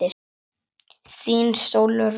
Þín Sólrún.